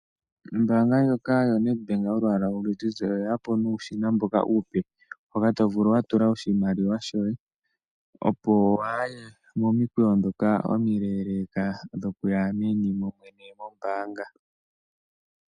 Ombaanga ndjoka yoNEDBANK yolwaala oluzizi oye ya po nuushina mboka uupe. Mboka to vulu wa tula oshimaliwa shoye, opo waaye momikweyo ndhoka omileeleeka dhoku ya meni momwene moombaanga.